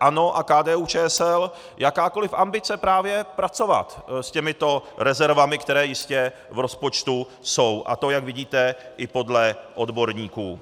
ANO a KDU-ČSL, jakákoliv ambice právě pracovat s těmito rezervami, které jistě v rozpočtu jsou, a to jak vidíte, i podle odborníků.